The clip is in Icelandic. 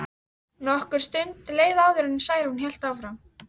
Nokkur stund leið áður en Særún hélt áfram.